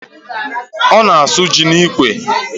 Ọ na-asụ ji n'ikwe